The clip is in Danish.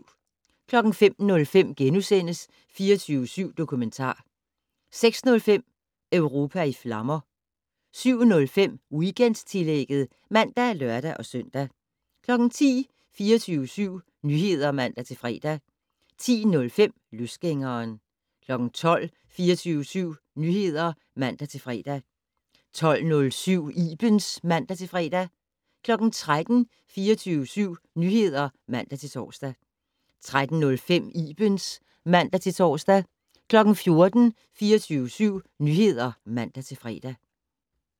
05:05: 24syv Dokumentar * 06:05: Europa i flammer 07:05: Weekendtillægget (man og lør-søn) 10:00: 24syv Nyheder (man-fre) 10:05: Løsgængeren 12:00: 24syv Nyheder (man-fre) 12:07: Ibens (man-fre) 13:00: 24syv Nyheder (man-tor) 13:05: Ibens (man-tor) 14:00: 24syv Nyheder (man-fre)